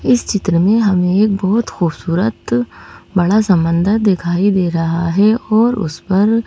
इस चित्र में हमें एक बहुत खूबसूरत बड़ा समंदर दिखाई दे रहा है और उस पर--